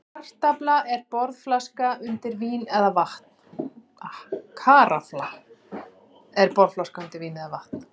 Karafla er borðflaska undir vín eða vatn.